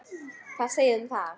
Hvað segið þið um það?